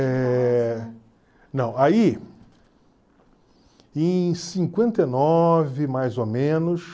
Eh, não, aí em cinquenta e nova mais ou menos